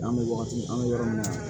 An bɛ wagati an bɛ yɔrɔ min na